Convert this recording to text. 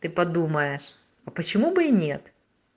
ты подумаешь а почему бы и нет